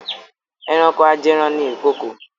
Ẹranko ajẹran ni ìkokò.